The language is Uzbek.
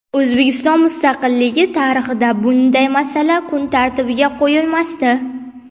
O‘zbekiston mustaqilligi tarixida bunday masala kun tartibiga qo‘yilmasdi.